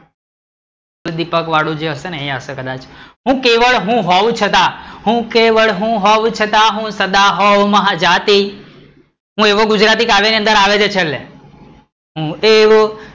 તો દીપકવાળું હશે જો હશે કદાચ, હું કેવળ હું હોવ છતાં, હું કેવળ હું હોવ છતાં, હું સદા હોવ મહાજાતિ, હું એવો ગુજરાતી કાવ્ય ની અંદર આવે છે છેલ્લે હું એવો